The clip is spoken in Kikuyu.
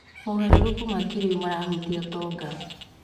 Mogarũrũku ma kĩrĩu marahutia ũtonga.